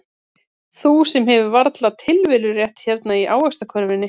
Þú sem hefur varla tilverurétt hérna í ávaxtakörfunni.